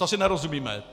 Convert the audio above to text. To si nerozumíme.